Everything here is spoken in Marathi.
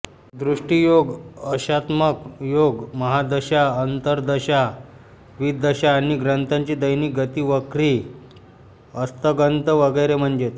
दृष्टीयोग अंशात्मक योग महादशा अंतर्दशा विदशा आणि ग्रहांची दैनिक गतीवक्री अस्तंगत वगैरे म्हणजेच